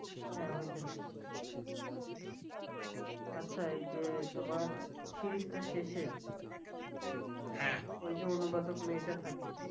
হ্যাঁ! হইতে পারে। আচ্ছা এই যে তোমার Series টার শেষে ওই যে অনুবাদক মেয়েটা থাকে